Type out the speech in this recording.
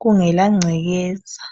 kungela gcekeza.